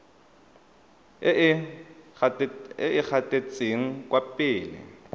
e e gatetseng kwa pele